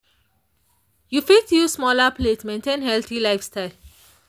you fit use smaller plates maintain healthy lifestyle.